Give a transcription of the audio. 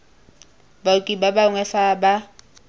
baoki ba bangwe fa ba